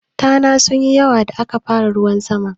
Tana sunyi yawa da aka fara ruwan sama.